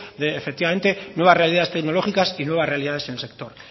nuevas realidades tecnológicas y nuevas realidades en el sector